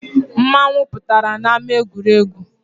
Mmanwu pụtara n’ama egwuregwu